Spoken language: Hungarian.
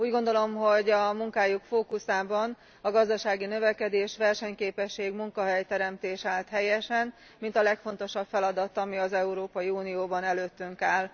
Úgy gondolom, hogy a munkájuk fókuszában a gazdasági növekedés, a versenyképesség, a munkahelyteremtés állt helyesen, mint a legfontosabb feladat, ami az Európai Unióban előttünk áll.